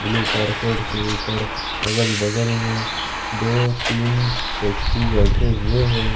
दो कारकरेट के ऊपर अगल बगल मे दो तीन व्यक्ति बैठे हुए है।